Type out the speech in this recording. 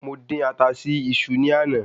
Mo dín ata sí iṣu ní àná